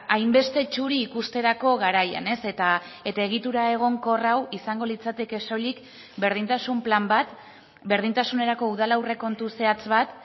hainbeste txuri ikusterako garaian eta egitura egonkor hau izango litzateke soilik berdintasun plan bat berdintasunerako udal aurrekontu zehatz bat